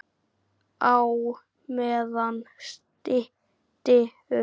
Á meðan stytti upp.